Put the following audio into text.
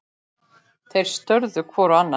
Þeir störðu hvor á annan.